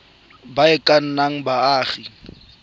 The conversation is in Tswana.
ba e ka nnang baagi